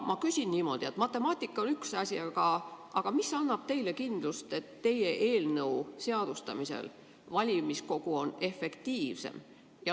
Ma küsin niimoodi: matemaatika on üks asi, aga mis annab teile kindluse, et teie eelnõu seadustamisel on valimiskogu efektiivsem?